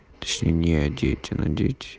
одеть и надеть